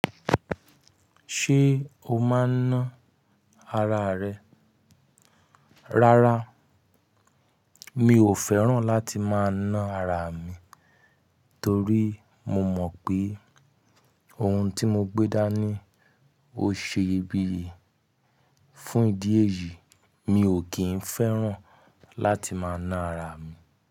Ṣé o máa ń ná ara rẹ? Rárá, mi ò fẹ́ràn láti máa ná ara mi, torí mo mọ̀ pé ohun tí mo gbé dání ó ṣe iyebíye. Fún ìdí èyí, mi ò kín fẹ́ràn láti máa ná ara mi.